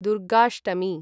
Durgashtami